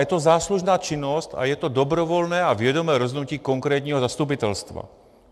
Je to záslužná činnost a je to dobrovolné a vědomé rozhodnutí konkrétního zastupitelstva.